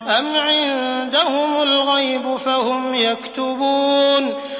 أَمْ عِندَهُمُ الْغَيْبُ فَهُمْ يَكْتُبُونَ